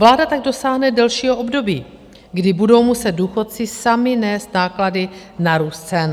Vláda tak dosáhne delšího období, kdy budou muset důchodci sami nést náklady na růst cen.